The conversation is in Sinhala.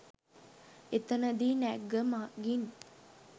එතනදී නැග්ග මගීන්